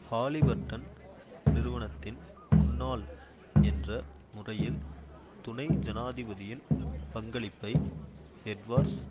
Halliburton நிறுவனத்தின் முன்னாள் என்ற முறையில் துணை ஜனாதிபதியின் பங்களிப்பை எட்வார்ஸ்